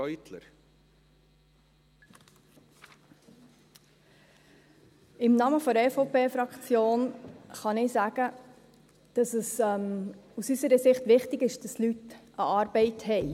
Im Namen der EVP-Fraktion kann ich sagen, dass es aus unserer Sicht wichtig ist, dass Leute eine Arbeit haben.